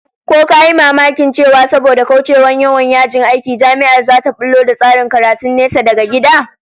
Ko ka yi mamakin cewa saboda kaucewa yawan yajin aiki, Jami'ar zata bullo da tsarin karatun nesa daga gida?